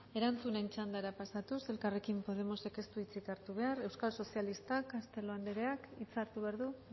erantzunen txandara pasatuz elkarrekin podemosek ez du hitzik hartu behar euskal sozialistak castelo andreak hitza hartu behar du